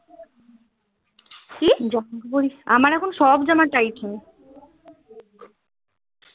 আমার এখন সব জামা tight হয়